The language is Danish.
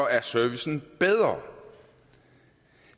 er servicen bedre